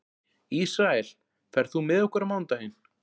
Ísrael, ferð þú með okkur á mánudaginn?